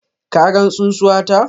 Ka gan tsunsuwata?